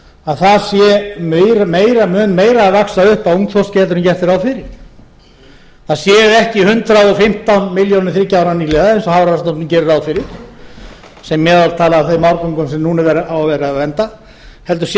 að það mun meira að vaxa upp af ungþorski en gert er ráð fyrir það séu ekki hundrað og fimmtán milljónir þriggja ára nýliða eins og hafrannsóknastofnun gerir ráð fyrir sem meðaltal af þeim árgöngum sem núna á að vera að vernda heldur sé